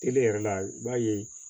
Tele yɛrɛ la i b'a ye